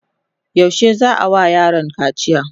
yaushe za'a wa yaron kaciya?